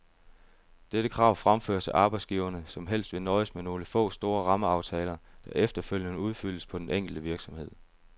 Dette krav fremføres af arbejdsgiverne, som helst vil nøjes med nogle få store rammeaftaler, der efterfølgende udfyldes på den enkelte virksomhed.